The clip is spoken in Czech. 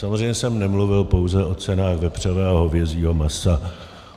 Samozřejmě jsem nemluvil pouze o cenách vepřového a hovězího masa.